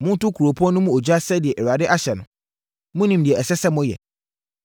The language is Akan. Monto kuropɔn no mu ogya sɛdeɛ Awurade ahyɛ no. Monim deɛ ɛsɛ sɛ moyɛ.”